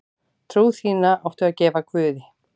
Trú þína áttu að gefa guði.